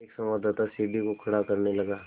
एक संवाददाता सीढ़ी को खड़ा करने लगा